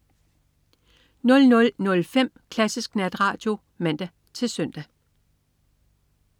00.05 Klassisk Natradio (man-søn)